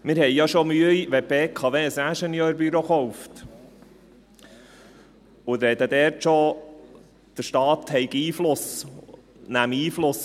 – Wir haben ja schon Mühe, wenn die BKW ein Ingenieurbüro kauft, und sagen dort schon, der Staat nehme darauf Einfluss.